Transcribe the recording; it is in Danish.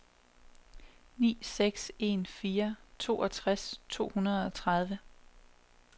ni seks en fire toogtres to hundrede og tredive